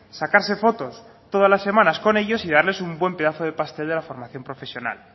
sacarse fotos todas las semanas con ellos y darles un buen pedazo del pastel de la formación profesional